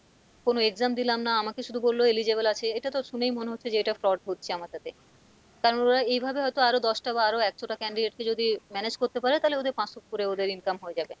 কোনো exam দিলাম না আমাকে শুধু বললো eligible আছে এটাতো শুনেই মনে হচ্ছে যে এটা fraud হচ্ছে আমার সাথে কারণ ওরা এভাবে হয়তো আরও দশটা বা আরও একশোটা candidate কে যদি manage করতে পারে তালে ওদের পাঁচশো করে ওদের income হয়ে যাবে,